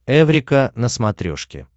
эврика на смотрешке